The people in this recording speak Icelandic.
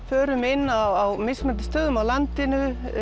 förum inn á mismunandi stöðum á landinu